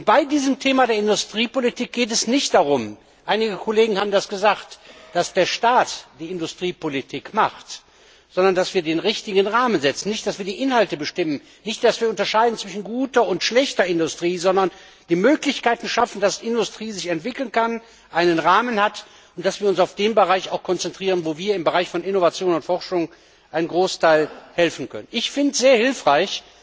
Bei dem Thema Industriepolitik geht es nicht darum einige Kollegen haben das gesagt dass der Staat Industriepolitik betreibt, sondern dass wir den richtigen Rahmen setzen, also nicht darum, dass wir die Inhalte bestimmen, dass wir unterscheiden zwischen guter und schlechter Industrie, sondern dass wir die Möglichkeiten schaffen, damit sich die Industrie entwickeln kann, einen Rahmen hat, und dass wir uns auch auf jene Bereiche konzentrieren, wo wir im Bereich von Innovation und Forschung zu einem großen Teil helfen können. Ich finde es sehr hilfreich,